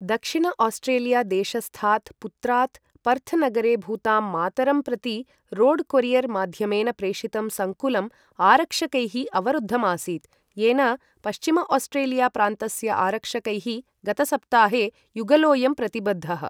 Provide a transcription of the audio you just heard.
दक्षिण आस्ट्रेलिया देशस्थात् पुत्रात् पर्थ् नगरे भूतां मातरं प्रति रोड् कोरियर् माध्यमेन प्रेषितं संकुलं आरक्षकैः अवरुद्धम् आसीत्, येन पश्चिम आस्ट्रेलिया प्रान्तस्य आरक्षकैः गतसप्ताहे युगलोयं प्रतिबद्धः।